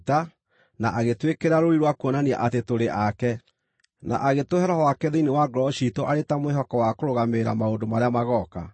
na agĩtwĩkĩra rũũri rwa kuonania atĩ tũrĩ ake, na agĩtũhe Roho wake thĩinĩ wa ngoro ciitũ arĩ ta mwĩhoko wa kũrũgamĩrĩra maũndũ marĩa magooka.